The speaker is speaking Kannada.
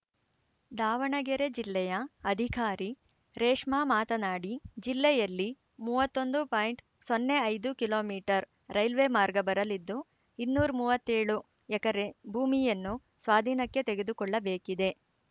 ದಾವಣಗೆರೆ ಜಿಲ್ಲೆಯ ಅಧಿಕಾರಿ ರೇಷ್ಮಾ ಮಾತನಾಡಿ ಜಿಲ್ಲೆಯಲ್ಲಿ ಮೂವತ್ತೊಂದು ಪಾಯಿಂಟ್ ಸೊನ್ನೆ ಐದು ಕಿಲೋ ಮೀಟರ್ ರೈಲ್ವೆ ಮಾರ್ಗ ಬರಲಿದ್ದು ಇನ್ನೂರ ಮೂವತ್ತೇಳು ಎಕರೆ ಭೂಮಿಯನ್ನು ಸ್ವಾಧೀನಕ್ಕೆ ತೆಗೆದುಕೊಳ್ಳಬೇಕಿದೆ